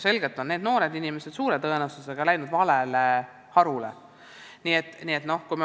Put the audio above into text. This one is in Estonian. Selgelt on need noored inimesed suure tõenäosusega valinud vale haridusharu.